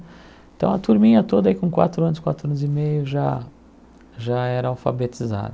Então, a turminha toda aí com quatro anos, quatro anos e meio já já era alfabetizada.